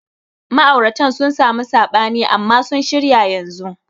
Ma'auratan sun samu sabani amman sun shirya yanzun.